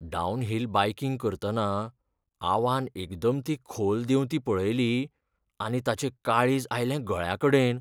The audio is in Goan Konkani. डावनहिल बायकिंग करतना आवान एकदम ती खोल देंवती पळयली आनी ताचें काळीज आयलें गळ्याकडेन.